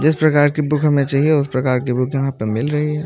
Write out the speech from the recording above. जिस प्रकार की बुक हमें चाहिए उस प्रकार की बुक यहां पर मिल रही है।